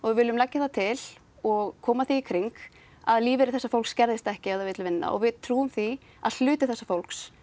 við viljum leggja það til og koma því í kring að lífeyrir þessa fólks skerðist ekki ef það vill vinna og við trúum því að hluti þessa fólks